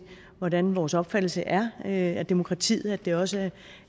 hvordan vores opfattelse er af demokratiet altså at det også